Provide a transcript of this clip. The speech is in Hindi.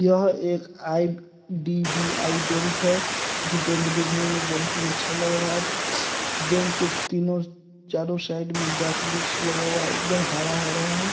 यहाँ एक आई_डी_बी_आई बैंक है जो बैंक दिखने में बहुत ही अच्छा लग रहा है बैंक के तीनों-चारों साइड में गाछ-ब्रिक्छ लगा हुआ है एकदम हरा-हरा है।